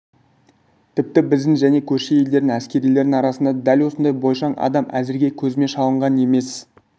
тіпті біздің және көрші елдердің әскерилерінің арасында дәл осындай бойшаң адам әзірге көзіме шалынған емес